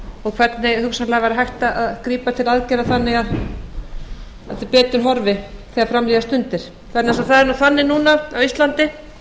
og hvernig hugsanlega væri hægt að grípa til aðgerða þannig að betur horfi þegar fram líða stundir vegna þess að það er nú þannig núna á íslandi